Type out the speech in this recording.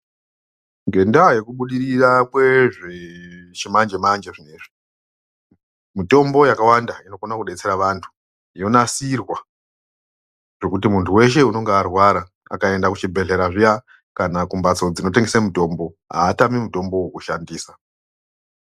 Ngenda yekubudirira kwezvechimanjemanje zvinozvi mutombo yakawanda inogona kubatsera vantu yonatsirwa zvekuti munhu weshe unonga arwara akaenda kuchibhedhlera kana kumbatso dzinotengesa mutombo haatami mutombo wekushandisa .